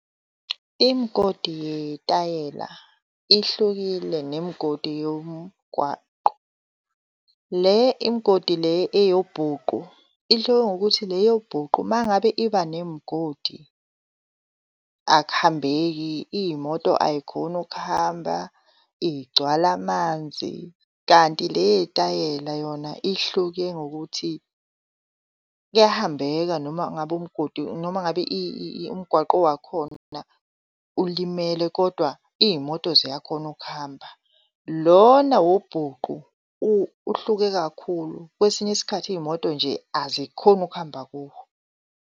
Imgodi yetayela ihlukile nemgodi yomgwaqo. Le imgodi le eyobhuqu ihluke ngokuthi le yobhuqu mangabe iba nemgodi akuhambeki, iy'moto ay'khoni ukuhamba igcwala amanzi. Kanti le eyitayela yona ihluke ngokuthi kuyahambeka noma ngabe umgodi noma ngabe umgwaqo wakhona ulimele, kodwa iy'moto ziyakhona ukuhamba. Lona wobhuqu uhluke kakhulu, kwesinye isikhathi iy'moto nje azikhoni ukuhamba kuwo.